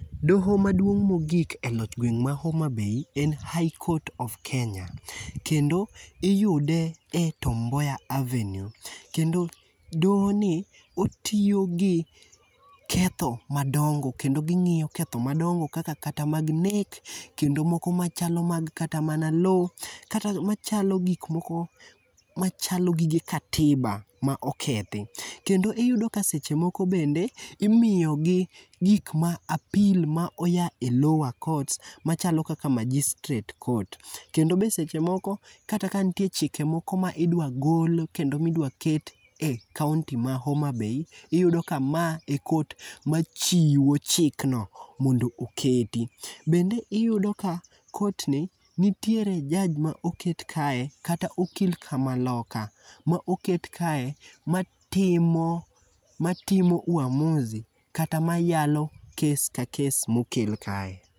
Doho maduong' ma ogik e loch gweng' ma Homa Bay en High Court of Kenya, kendo iyude e Tom Mboya Avenue kendo dohoni otiyo gi ketho madongo kendo ging'iyo ketho madongo kaka kata mag nek kendo moko machalo kata mana lowo kata machalo gik moko machalo gige katiba maokethi kendo iyudo ka seche moko bende imiyogi gik ma apil ma oya e lower court machalo kaka magistrate court kendo bende seche moko kata kanitie chike moko ma idwa gol kata ka idwa ket e kaonti ma Homa Bay, iyudo ka mae e court machiwo chik no mondo oketi bende iyudo ka kotni nitiere jaj ma oket kae kata okil kamaloka ma oket kae matimo matimo uamusi kata mayalo kes ka kes mokel kae.